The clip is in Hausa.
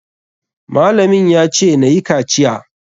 Malamin ya ce nayi kaciya.